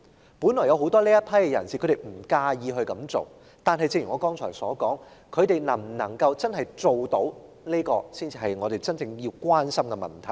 在這群人士中，大部分人本來也不介意這樣做，但正如我剛才所說，他們能否做得到才是我們真正關注的問題。